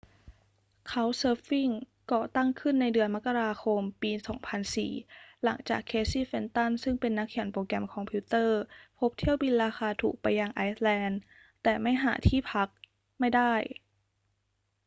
couchsurfing ก่อตั้งขึ้นในเดือนมกราคมปี 2004 หลังจาก เคซีย์ เฟนตัน ซึ่งเป็นนักเขียนโปรแกรมคอมพิวเตอร์พบเที่ยวบินราคาถูกไปยังไอซ์แลนด์แต่ไม่หาที่พักไม่ได้